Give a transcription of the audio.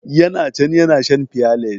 Ya na can ya na shan fiyales.